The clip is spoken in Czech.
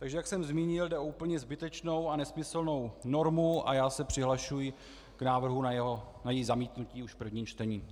Takže jak jsem zmínil, jde o úplně zbytečnou a nesmyslnou normu a já se přihlašuji k návrhu na její zamítnutí už v prvním čtení.